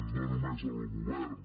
no només el govern